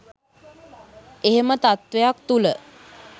එහෙම තත්ත්වයක් තුළ